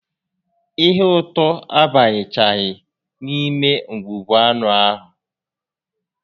Ihe ụtọ abanyechaghị n'ime ngwugwu anụ ahụ